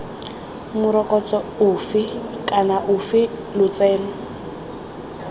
morokotso ofe kana ofe lotseno